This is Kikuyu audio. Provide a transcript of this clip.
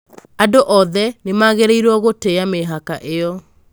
Andũ othe nĩ magĩrĩirũo gũtĩa mĩhaka ĩyo.